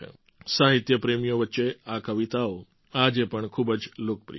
સાહિત્ય પ્રેમીઓ વચ્ચે આ કવિતાઓ આજે પણ ખૂબ જ લોકપ્રિય છે